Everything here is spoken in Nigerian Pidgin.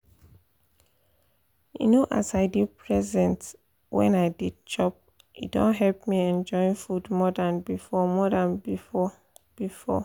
you know as i dey present wen i dey chop e don help me enjoy food more than before more than before before